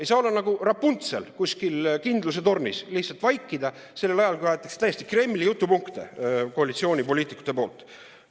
Ei saa olla nagu Rapuntsel kuskil kindluse tornis, lihtsalt vaikida sellel ajal, kui täiesti Kremli jutupunkte tuleb koalitsioonipoliitikute suust.